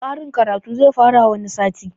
Karin karatu zai fara wani sati